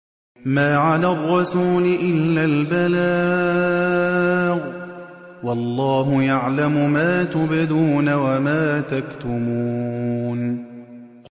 مَّا عَلَى الرَّسُولِ إِلَّا الْبَلَاغُ ۗ وَاللَّهُ يَعْلَمُ مَا تُبْدُونَ وَمَا تَكْتُمُونَ